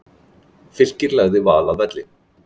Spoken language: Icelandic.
Fylkir lagði Val að velli